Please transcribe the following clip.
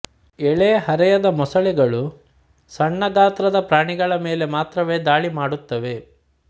ಎಳೆ ಹರೆಯದ ಮೊಸಳೆಗಳು ಸಣ್ಣ ಗಾತ್ರದ ಪ್ರಾಣಿಗಳ ಮೇಲೆ ಮಾತ್ರವೇ ದಾಳಿಮಾಡುತ್ತವೆ